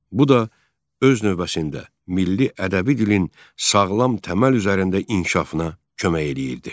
Bu da öz növbəsində milli ədəbi dilin sağlam tələb üzərində inkişafına kömək eləyirdi.